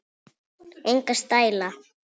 Enga stæla